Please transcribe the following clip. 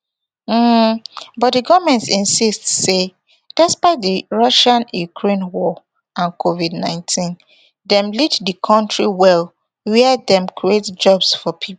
um but di goment insist say despite di russiaukraine war and covid nineteen dem lead di kontri well wia dem create jobs for pipo